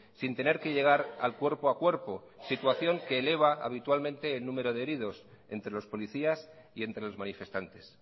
sin tener que llegar al cuerpo a cuerpo situación que eleva habitualmente el número de heridos entre los policías y entre los manifestantes